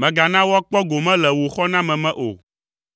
mègana woakpɔ gome le wò xɔname me o.